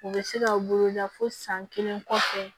U bɛ se ka u bolo da fo san kelen kɔfɛ